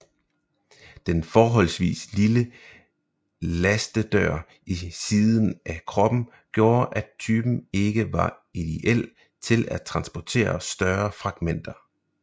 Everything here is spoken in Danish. Den forholdsvis lille lastedør i siden af kroppen gjorde at typen ikke var ideel til at transportere større fragtmængder